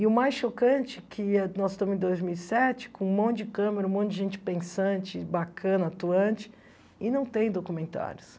E o mais chocante que nós estamos em dois mil e sete, com um monte de câmera, um monte de gente pensante, bacana, atuante, e não tem documentários.